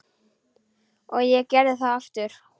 Og ég gerði það aftur.